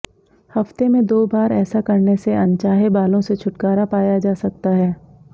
हफ्ते में दो बार ऐसा करने से अनचाहे बालों से छुटकारा पाया जा सकता है